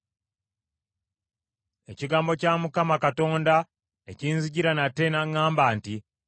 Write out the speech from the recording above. Ekigambo kya Mukama Katonda ne kinzijira nate n’aŋŋamba nti,